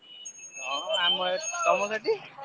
ହଁ ଆମ ଏପଟେ ତମ ସେଠି?